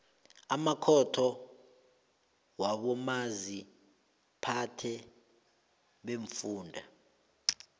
amakhotho wabomaziphathe beemfunda